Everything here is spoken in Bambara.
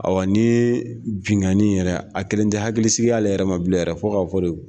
Ayiwa nin binnkanni yɛrɛ a kɛlen tɛ hakilisigi y'ale yɛrɛ ma bilen yɛrɛ fo k'a fɔ de